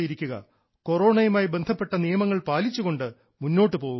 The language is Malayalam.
കൊറോണയുമായി ബന്ധപ്പെട്ട നിയമങ്ങൾ പാലിച്ചുകൊണ്ട് മുന്നോട്ട് പോവുക